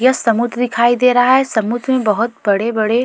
यह समुद्र दिखाई दे रहा है समुद्र में बहुत बड़े-बड़े।